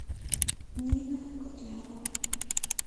нина котлярова